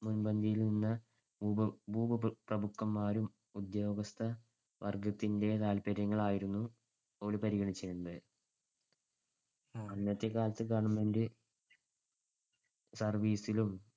മുൻപന്തിയിൽനിന്ന ഭൂ ~ ഭൂപ്രഭുക്കന്മാരും ഉദ്യോഗസ്ഥവർഗ്ഗത്തിന്‍ടെ താത്പര്യങ്ങളായിരുന്നു പരിഗണിച്ചിരുന്നത്. അന്നത്തെക്കാലത്തു government service ലും